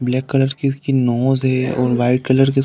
black colour की उसकी nose है और वाइट कलर की उस --